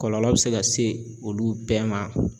Kɔlɔlɔ bɛ se ka se olu bɛɛ ma.